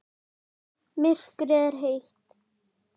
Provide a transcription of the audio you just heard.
Myrkrið er heitt.